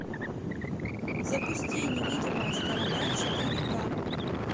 запусти невидимая сторона четыре ка